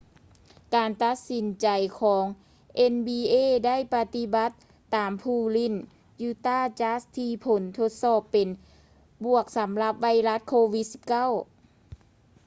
ການຕັດສິນໃຈຂອງ nba ໄດ້ປະຕິບັດຕາມຜູ້ຫຼິ້ນ utah jazz ທີ່ຜົນທົດສອບເປັນບວກສຳລັບໄວຣັສ covid-19